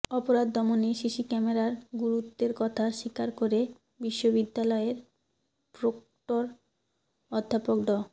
অপারধ দমনে সিসি ক্যামেরার গুরুত্বের কথা স্বীকার করে বিশ্ববিদ্যালয়ের প্রক্টর অধ্যাপক ড